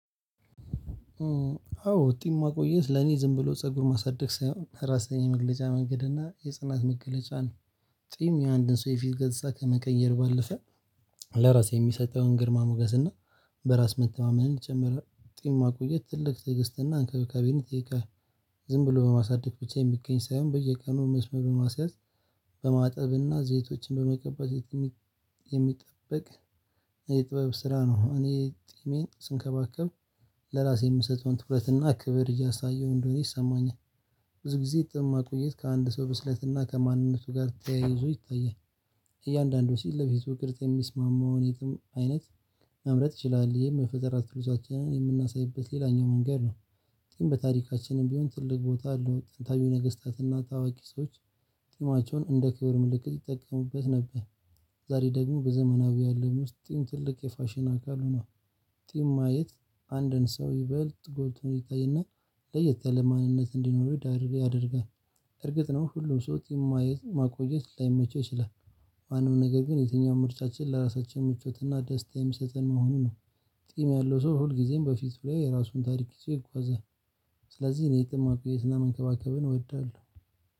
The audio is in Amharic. አዎ ውጤት ማቆየት ለኔ ዝም ብሎ ፀጉር ማሳደግ ሳይሆን ራስን የመግለጫ መንገድ እና የጽናት መገለጫን ጥይም የአንድን ሰው የፊት ገጽታ ከመቀየር ባልፈም ለራሴ የሚሰጠውን ግርማ ሞገስ እና በራስ መተማመን ይጨምራል። ጢም ማቆየት ትልቅ ትዕግስትና እንክብካቤን ይጠይቃል። ዝም ብሎ በማሳደግ ብቻ የሚገኝ ሳይሆን በየቀኑ መስመር በማስያዝ። በማጠብና ዘይቶችን በመቀባት ዘይት የሚጠበቅ። የጥበብ ስራ ነው። እኔ ጢሜን ስንከባከብ ለራሴ የምሰጠውን ትኩረትና ክብር እያሳየው እንደሆነ ይሰማኛል። ብዙ ጊዜ የጢማ ቆየት ከአንድ ሰው ብስለትና ከማንነቱ ጋር ተያይዞ ይታያል። እያንዳንዱ ሲል ለፊቱ ቅርጽ የሚስማማውን የጢም አይነት መምረጥ ይችላል። ይሄም የፈጠራ ክህሎታችንን የምናሳይበት ሌላኛው መንገድ ነው። ግን በታሪካችንም ቢሆን ትልቅ ቦታ አለው። ጥንታዊ ነገስታትና ታዋቂ ሰዎች ጢማቸውን እንደ ክብር ምልክት ይጠቀሙበት ነበር። ዛሬ ደግሞ በዘመናዊ ያለው ምስጢም ትልቅ የፋሽን አካል ሆኗል። ጢም ማየት አንድን ሰው ይበልጥ ጎልቶ እንዲታይና ለየት ያለ ማንነት እንዲኖረው ይዳር ያደርጋል። እርግጥ ነው ሁሉም ሰው ጢም ማየት ማቆየት ላይመቸው ይችላል። ማንም ነገር ግን የትኛውም ምርጫችን ለራሳችን ምቾትና ደስታ የሚሰጥን መሆኑ ነው። ጺም ያለው ሰው ሁል ጊዜም በፊቱ ላይ የራሱን ታሪክ ይዞ ይጓዛል። ስለዚህ እኔ ጺም ማቆየትና መንከባከብን እወዳለሁ።